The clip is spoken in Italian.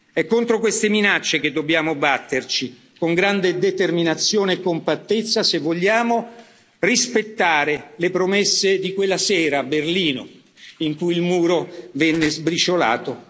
È contro queste minacce che dobbiamo batterci con grande determinazione e compattezza se vogliamo rispettare le promesse di quella sera a Berlino, in cui il Muro venne sbriciolato.